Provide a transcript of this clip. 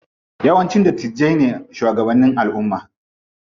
Yawanci dattijai ne shugabanni a alumma.